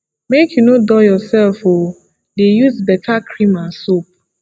make you no dull yourself o dey use beta cream and soap